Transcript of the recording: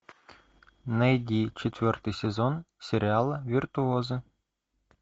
найди четвертый сезон сериала виртуозы